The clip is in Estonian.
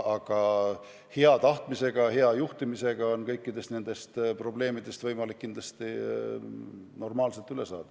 Aga hea tahtmisega, hea juhtimisega on kõikidest nendest probleemidest võimalik kindlasti normaalsel moel üle saada.